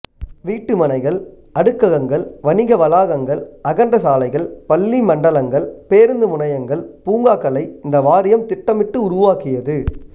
வீட்டுமனைகள் அடுக்ககங்கள் வணிக வளாகங்கள் அகன்ற சாலைகள் பள்ளி மண்டலங்கள் பேருந்து முனையங்கள் பூங்காக்களை இந்த வாரியம் திட்டமிட்டு உருவாக்கியது